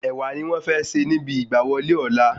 Ẹ̀wà ní wọn fẹ́ sè níbi ìgbà wọlé ọ̀la